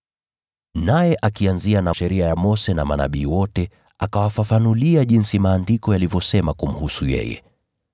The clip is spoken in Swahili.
Naye akianzia na Sheria ya Mose na Manabii wote, akawafafanulia jinsi Maandiko yalivyosema kumhusu yeye.